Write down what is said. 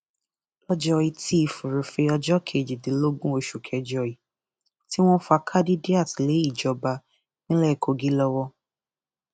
lọjọ etí furuufee ọjọ kejìdínlógún oṣù kẹjọ yìí tí wọn fa khadidiat lé ìjọba ìpínlẹ kogi lọwọ